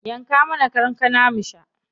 Yanka mana kankana mu sha.